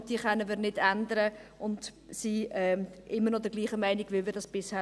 Diese können wir nicht ändern, und wir sind immer noch derselben Meinung wie bisher.